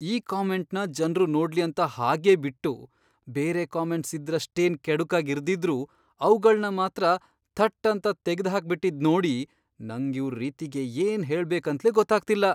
ಈ ಕಾಮೆಂಟ್ನ ಜನ್ರು ನೋಡ್ಲಿ ಅಂತ ಹಾಗೆ ಬಿಟ್ಟು, ಬೇರೆ ಕಾಮೆಂಟ್ಸ್ ಇದ್ರಷ್ಟೇನ್ ಕೆಡುಕಾಗ್ ಇರ್ದಿದ್ರೂ ಅವ್ಗಳ್ನ ಮಾತ್ರ ಥಟ್ ಅಂತ ತೆಗ್ದ್ಹಾಕ್ಬಿಟಿದ್ನೋಡಿ ನಂಗ್ ಇವ್ರ್ ರೀತಿಗೆ ಏನ್ ಹೇಳ್ಬೇಕಂತ್ಲೇ ಗೊತ್ತಾಗ್ತಿಲ್ಲ.